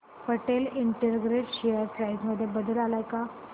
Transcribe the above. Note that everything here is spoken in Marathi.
पटेल इंटरग्रेट शेअर प्राइस मध्ये बदल आलाय का